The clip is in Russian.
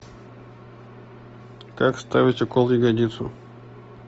как ставить укол в ягодицу